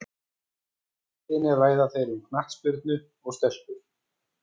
Á leiðinni ræða þeir um knattspyrnu og stelpur.